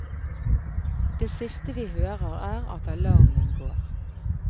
Det siste vi hører er at alarmen går.